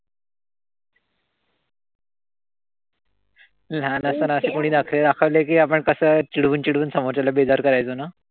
लहान असताना अशे कोणी नखरे दाखवले कि आपण कसं चिडवून-चिडवून समोरच्याला बेजार करायचो ना?